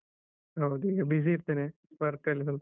ಹೌದು, ಈಗ busy ಇರ್ತೇನೆ work ಅಲ್ಲಿ ಸ್ವಲ್ಪ.